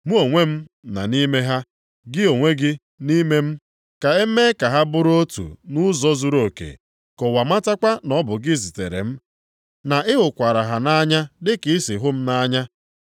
Mụ onwe m nʼime ha, gị onwe gị nʼime m. Ka e mee ka ha bụrụ otu nʼụzọ zuruoke, ka ụwa matakwa na ọ bụ gị zitere m, na ị hụkwara ha nʼanya dị ka ị si hụ m nʼanya.